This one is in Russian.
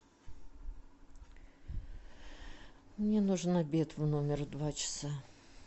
мне нужен обед в номер в два часа